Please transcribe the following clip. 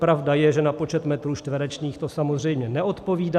Pravda je, že na počet metrů čtverečních to samozřejmě neodpovídá.